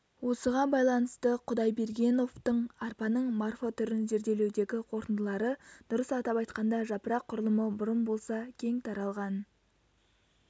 осыған байланысты құдайбергеновтың арпаның морфотүрін зерделеудегі қорытындылары дұрыс атап айтқанда жапырақ құрылымы бұрын болса кең таралған